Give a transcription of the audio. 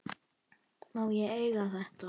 Má ég eiga þetta?